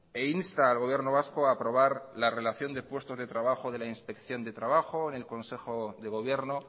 e insta al gobierno vasco a aprobar la relación de puestos de trabajo de la inspección de trabajo en el consejo de gobierno